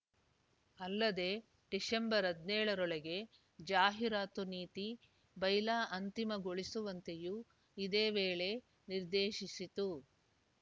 ಅಲ್ಲದೇ ಡಿಸೆಂಬರ್ ಹದಿನ್ಯೋಳ ರೊಳಗೆ ಜಾಹಿರಾತು ನೀತಿಬೈಲಾ ಅಂತಿಮಗೊಳಿಸುವಂತೆಯೂ ಇದೇ ವೇಳೆ ನಿರ್ದೇಶಿಸಿತು